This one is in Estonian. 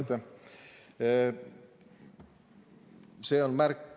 Aitäh!